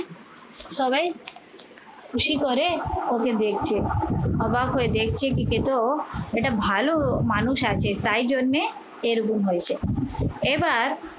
সবাই খুশি করে ওকে দেখছে অবাক হয়ে দেখছে এটা ভালো মানুষ আছে তাই জন্যে এরকম হয়েছে এবার